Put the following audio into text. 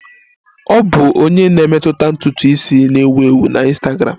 Ọ bụ onye na-emetụta ntutu isi na-ewu ewu na Ịnstagramụ